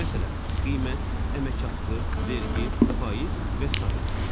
Məsələn, qiymət, əmək haqqı, vergi, faiz və sair.